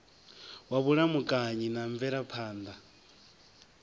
wa vhulamukanyi na mvelaphan ḓa